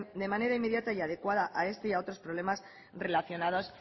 de manera inmediata y adecuada a este y otros problemas relacionados